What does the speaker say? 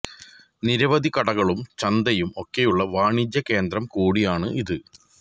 നിരവധി കടകളും ചന്തയും ഒക്കെയുള്ള വാണിജ്യ കേന്ദ്രം കൂടിയാണ് ഇത്